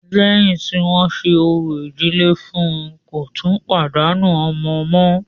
Lẹ́yìn tí wọ́n ṣe orò ìdílé fún ùn, kò tún pàdánù ọmọ mọ́.